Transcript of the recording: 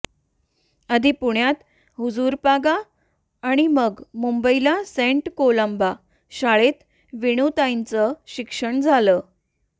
आधी पुण्यात हुजूरपागा आणि मग मुंबईला सेंट कोलंबा शाळेत वेणूताईंचं शिक्षण झालं